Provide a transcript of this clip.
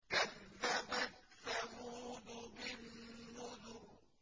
كَذَّبَتْ ثَمُودُ بِالنُّذُرِ